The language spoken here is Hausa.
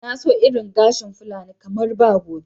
Na so irin gashin fulani kamar ba gobe.